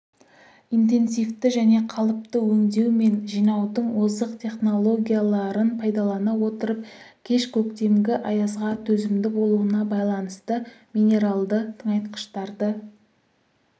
интенсивті және қалыпты өңдеу мен жинаудың озық технологияларын пайдалана отырып кеш көктемгі аязға төзімді болуына байланысты минералды тыңайтқыштарды